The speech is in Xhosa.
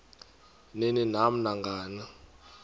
ni nam nangani